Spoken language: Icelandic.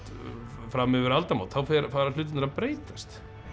fram yfir aldamót þá fara hlutirnir að breytast